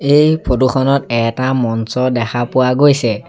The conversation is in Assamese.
এই ফটো খনত এটা মঞ্চ দেখা পোৱা গৈছে।